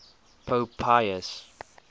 pope pius